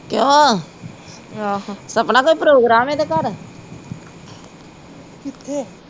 ਕਿਉਂ? ਸਪਨਾ ਕੋਈ program ਏਦੇ ਘਰ